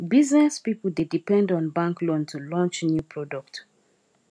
business people dey depend on bank loan to launch new product